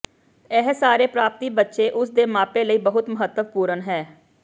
ਇਹ ਸਾਰੇ ਪ੍ਰਾਪਤੀ ਬੱਚੇ ਉਸ ਦੇ ਮਾਪੇ ਲਈ ਬਹੁਤ ਮਹੱਤਵਪੂਰਨ ਹੈ